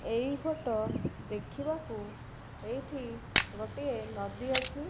ଏଇ ଫୋଟ ଦେଖିବାକୁ ଏଇଠି ଗୋଟିଏ ନଦୀ ଅଛି।